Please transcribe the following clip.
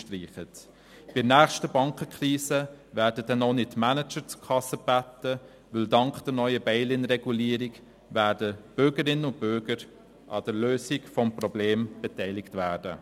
Bei der nächsten Bankenkrise werden dann auch nicht Manager zur Kasse gebeten, weil dank der neuen «bail-in»-Regulierung Bürgerinnen und Bürger an der Lösung des Problems beteiligt werden.